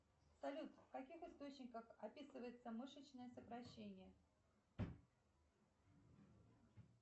салют в каких источниках описывается мышечное сокращение